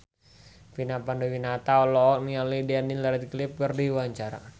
Vina Panduwinata olohok ningali Daniel Radcliffe keur diwawancara